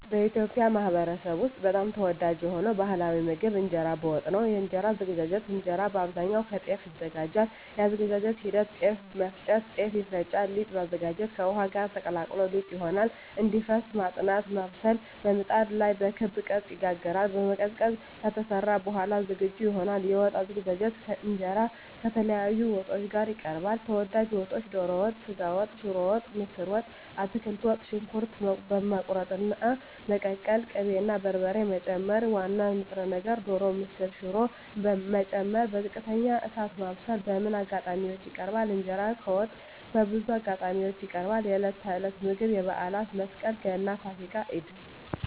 በኢትዮጵያ ማኅበረሰብ ውስጥ በጣም ተወዳጅ የሆነው ባሕላዊ ምግብ እንጀራ በወጥ ነው። የእንጀራ አዘገጃጀት እንጀራ በአብዛኛው ከጤፍ ይዘጋጃል። የአዘገጃጀት ሂደት ጤፍ መፍጨት – ጤፍ ይፈጫል ሊጥ ማዘጋጀት – ከውሃ ጋር ተቀላቅሎ ሊጥ ይሆናል እንዲፈስ መጥናት (ማብሰል) – በምጣድ ላይ በክብ ቅርጽ ይጋገራል መቀዝቀዝ – ከተሰራ በኋላ ዝግጁ ይሆናል የወጥ አዘገጃጀት እንጀራ ከተለያዩ ወጦች ጋር ይቀርባል። ተወዳጅ ወጦች ዶሮ ወጥ ስጋ ወጥ ሽሮ ወጥ ምስር ወጥ አትክልት ወጥ . ሽንኩርት መቁረጥና መቀቀል ቅቤ እና በርበሬ መጨመር ዋና ንጥረ ነገር (ዶሮ፣ ምስር፣ ሽሮ…) መጨመር በዝቅተኛ እሳት ማብሰል በምን አጋጣሚዎች ይቀርባል? እንጀራ ከወጥ በብዙ አጋጣሚዎች ይቀርባል፦ የዕለት ተዕለት ምግብ የበዓላት (መስቀል፣ ገና፣ ፋሲካ፣ ኢድ)